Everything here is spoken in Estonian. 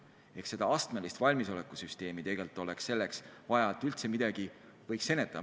Oleks vaja astmelist valmisolekusüsteemi, et üldse midagi oleks võimalik ennetada.